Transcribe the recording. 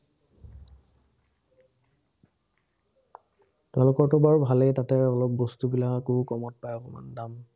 তোমালোকৰতো বাৰু ভালেই তাতে, অলপ বস্তুবিলাকো কমত পায় অকণমান দাম।